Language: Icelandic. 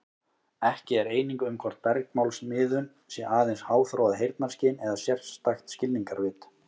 Ekki er eining um hvort bergmálsmiðun sé aðeins háþróað heyrnarskyn eða sérstakt skilningarvit.